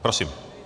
Prosím.